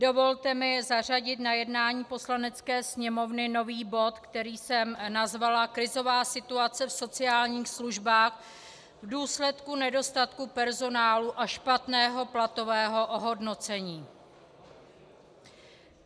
Dovolte mi zařadit na jednání Poslanecké sněmovny nový bod, který jsem nazvala Krizová situace v sociálních službách v důsledku nedostatku personálu a špatného platového ohodnocení.